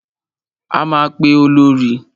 A máa pe Olorì.